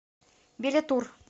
билетур